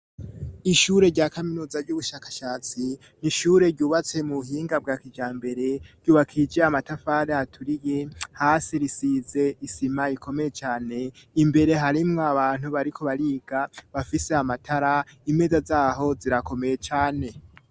Ishure rya kaminuza ry'ubushakashatsi nishure ryubatse mu buhinga bwa kijambere ryubakije amatafari aturiye hasi risize isima ikomeye cane imbere harimwo abantu bariko bariga bafise amatara imeza zaho zirakomeye cane.